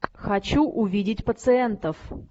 хочу увидеть пациентов